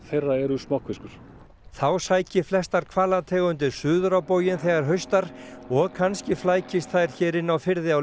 þá sæki flestar hvalategundir suður á bóginn þegar haustar og kannski flækist þær hér inn á firði á leiðinni þangað